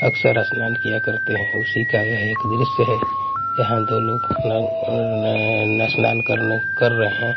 अकसर स्नान किया करते हैं उसी का यह एक दृश्य है यहां दो लोग अह स्नान करने कर रहे हैं।